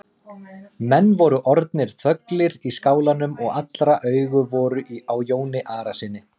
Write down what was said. Menn voru orðnir þöglir í skálanum og allra augu voru á Jóni Arasyni.